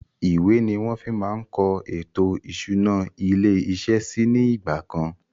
Ìwé ni wọn fi máa ń kọ ètò ìṣúná ilé iṣẹ́ síí ni ìgbàkan